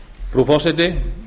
frú forseti